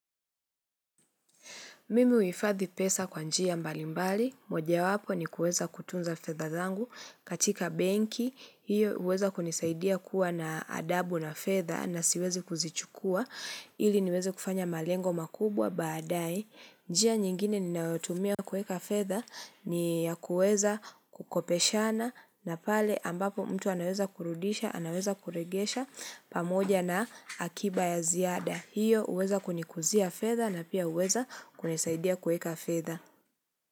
Mimi uhifadhi pesa kwa njia mbalimbali, moja wapo ni kueza kutunza fedha zangu katika benki, hiyo uweza kunisaidia kuwa na adabu na fedha na siwezi kuzichukua, ili niweze kufanya malengo makubwa baadaye. Njia nyingine ninayotumia kueka fedha ni ya kuweza kukopeshana na pale ambapo mtu anaweza kurudisha, anaweza kuregesha pamoja na akiba ya ziada. Hiyo uweza kunikuzia fedha na pia uweza kunisaidia kuweka fedha.